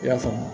I y'a faamu